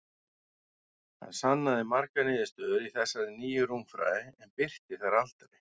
Hann sannaði margar niðurstöður í þessari nýju rúmfræði, en birti þær aldrei.